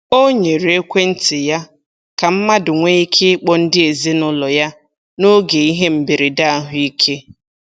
O nyere ekwentị ya ka mmadụ nwee ike ịkpọ ndị ezinụụlọ ya n'oge ihe mberede ahụike.